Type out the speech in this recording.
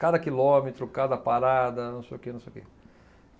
Cada quilômetro, cada parada, não sei o quê, não sei o quê.